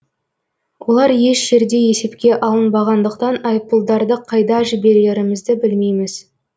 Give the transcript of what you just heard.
олар еш жерде есепке алынбағандықтан айыппұлдарды қайда жіберерімізді білмейміз